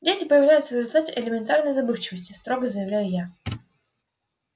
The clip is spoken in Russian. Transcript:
дети появляются в результате элементарной забывчивости строго заявляю я